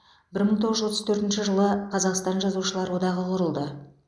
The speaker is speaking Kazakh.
бір мың тоғыз жүз отыз төртінші жылы қазақстан жазушылар одағы құрылды